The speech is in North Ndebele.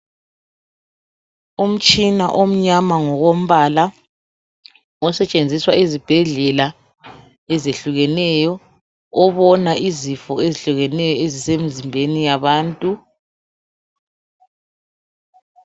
Umtshina omnyama ngokompala osetshenziswa ezibhedlela ezehlukeneyo obona izifo ezihlukeneyo ezisemzimbeni yabantu.